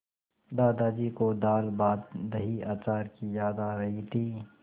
दादाजी को दालभातदहीअचार की याद आ रही थी